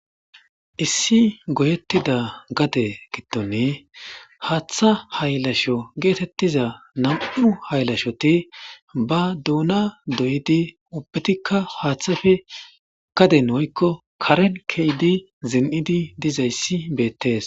Issi goyetida gade gidoni Hatha haylasho getetiza nam'u haylashoti ba duna doyidi ubbatikka hatheppe gaden woyko Karen ke'idi zinidi dizaysa betese